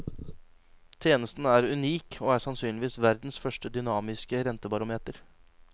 Tjenesten er unik og er sannsynligvis verdens første dynamiske rentebarometer.